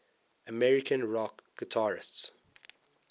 american rock guitarists